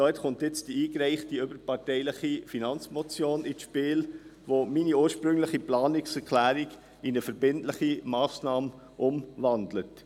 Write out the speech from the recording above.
Dort kommt nun die überparteilich eingereichte Finanzmotion () ins Spiel, die meine ursprüngliche Planungserklärung in eine verbindliche Massnahme umwandelt.